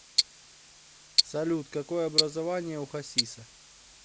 салют какое образование у хасиса